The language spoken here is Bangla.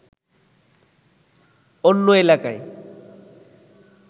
অন্য এলাকায়